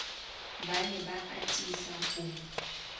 ba ne ba atisa ho